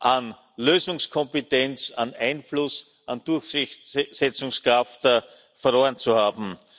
an Lösungskompetenz, an Einfluss, an Durchsetzungskraft verloren zu haben.